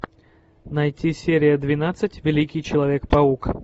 найти серия двенадцать великий человек паук